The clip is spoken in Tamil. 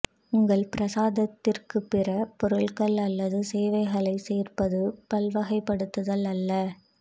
உங்கள் பிரசாதத்திற்கு பிற பொருட்கள் அல்லது சேவைகளை சேர்ப்பது பல்வகைப்படுத்தல் அல்ல